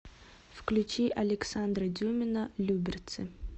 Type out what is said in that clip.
включи александра дюмина люберцы